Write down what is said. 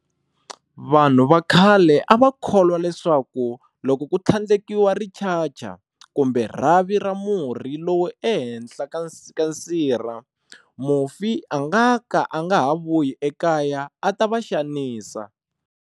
Vanhu va khale a va kholwa leswaku loko ku tlhandlekiwa richacha kumbe rhavi ra murhi lowu ehenhla ka sirha, mufi a nga ka a nga ha ha vuyi ekaya a ta va xanisa.